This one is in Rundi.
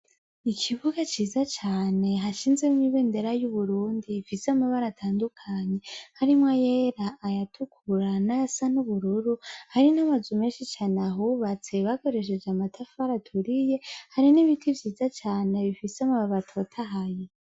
Ikibuga ciza cane hashinzemw' ibendera y uburundi ifis' amabara atandukanye, harimwo yera, ayatukura nay icatsi kibisi, hari n amazu menshi cane ahubatse bakoresheje amatafari aturiye, hari n' ibiti vyiza cane bifis' amabuy' atotahaye.